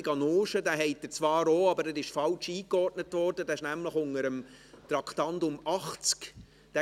Sie haben ihn auch, aber er ist falsch eingeordnet, nämlich unter dem Traktandum 80.